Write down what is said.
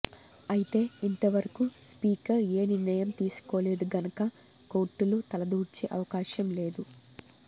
అయితే ఇంత వరకూ స్పీకర్ ఏ నిర్ణయం తీసుకోలేదు గనక కోర్టులు తలదూర్చే అవకాశం లేదు